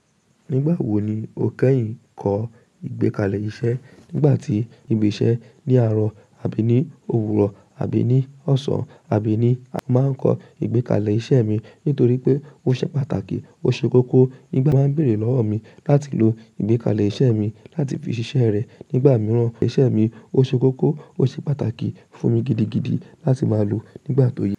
Nígbàwò ní o kẹ́yin kọ igbékalè iṣẹ́ nígbà tí ibi iṣẹ́ ní àárò àbí ní òwúrò àbí ní ọ̀sán àbí ní Màá n kọ igbékalè iṣẹ́ mi nítorí pé ó ṣe pàtàkì, ó ṣe kókó. Nígbà ti wón béèrè lọ́wọ́ mi láti lò igbékalè iṣẹ́ mi láti fi ṣiṣẹ́ rẹ nígbà mìíràn, iṣẹ́ mi ó ṣe kókó, ó ṣe pàtàkì fún mi gidigidi láti máa lò nígbà tó yẹ.